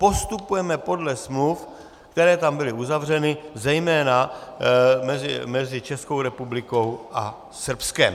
Postupujeme podle smluv, které tam byly uzavřeny zejména mezi Českou republikou a Srbskem.